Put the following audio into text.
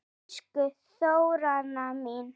Elsku Þóranna mín.